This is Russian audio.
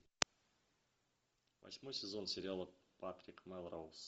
восьмой сезон сериала патрик мелроуз